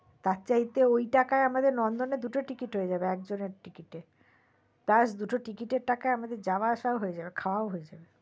তার চাইতে ওই টাকায় আমাদের নন্দনের দু টো টিকিট হয়ে যাবে একজনের টিকিট এ দু টো টিকিট এর টাকায় আমাদের যাওয়া আসা ও হয়ে যাবে খাওয়া ও হয়ে যাবে